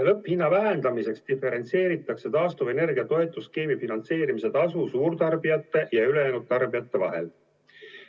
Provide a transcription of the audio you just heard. Lõpphinna vähendamiseks diferentseeritakse taastuvenergia toetusskeemi finantseerimise tasu suurtarbijate ja ülejäänud tarbijate vahel.